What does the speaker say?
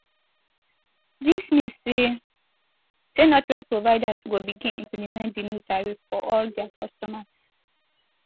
dis mean say say network providers go begin implement di new tariff for all dia customers